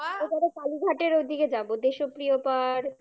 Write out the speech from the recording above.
এবারে কালীঘাটের ওদিকে যাবো দেশপ্রিয় পার্ক